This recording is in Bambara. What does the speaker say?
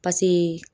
Pase